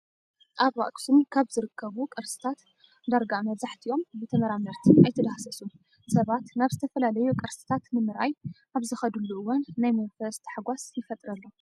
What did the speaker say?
ኣብ ኣክሱም ካብ ዝርከቡ ቅርስታት ዳርጋ መብዛሕቲኦም ብተመራመርቲ ኣይተዳህሰሱን። ሰባት ናብ ዝተፈላለዩ ቅርስታት ንምርኣይ ኣብ ዝኸድሉ እዋን ናይ መንፈስ ታሕጓሽ ይፈጥረሎም።